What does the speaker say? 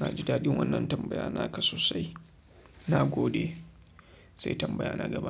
na ji daɗin wannan tambaya naka sosai. Na gode sai tambaya na gaba.